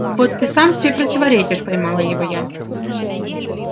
вот ты сам себе противоречишь поймала его я